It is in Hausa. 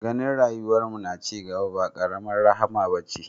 Ganin rayuwar mu na cigaba ba karamar rahama bace